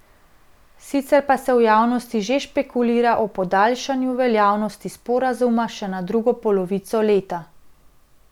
Sicer pa se v javnosti že špekulira o podaljšanju veljavnosti sporazuma še na drugo polovico leta.